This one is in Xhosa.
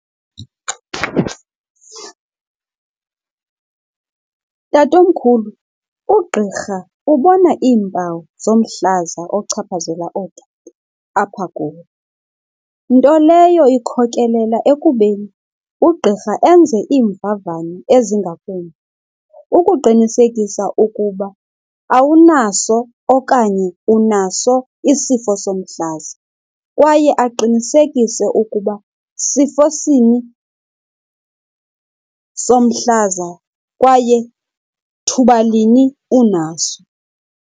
Tatomkhulu, ugqirha ubona iimpawu zomhlaza ochaphazela oku apha kuwe. Nto leyo ikhokelela ekubeni ugqirha enze iimvavanyo ezingakumbi ukuqinisekisa ukuba awunaso okanye unaso isifo somhlaza kwaye aqinisekise ukuba sifo sini somhlaza kwaye thuba lini unaso.